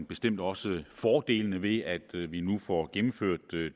bestemt også fordelene ved at vi nu får gennemført